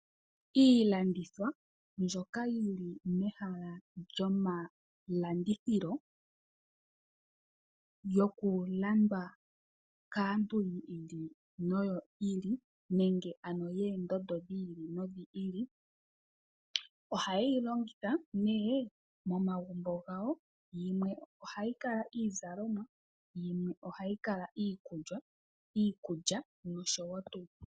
Iilandithwa mbyoka yili mehala ndjo malandithilo yokulandwa kaantu yi ili noyi ili nenge ano yoondondo dhi ili nodhi ili . Ohayeyi longitha nee momagumbo gawo yimwe ohayi kala iizalomwa yimwe ohayikala iikulya noshowo tuu.